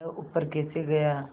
वह ऊपर कैसे गया